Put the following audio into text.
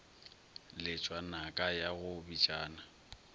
letšwa naka ya go bitšana